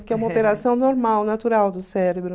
Porque é uma operação normal, natural do cérebro.